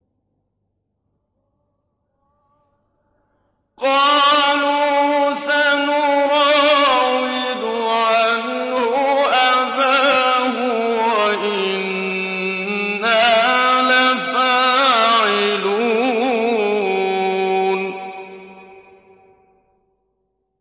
قَالُوا سَنُرَاوِدُ عَنْهُ أَبَاهُ وَإِنَّا لَفَاعِلُونَ